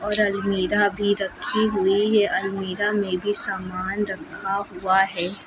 और अलमीरा भी रखी हुई है अलमीरा में भी सामान रखा हुआ है।